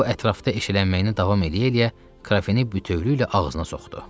O ətrafda eşələnə-eşələnə krafini bütövlükdə ağzına soxdu.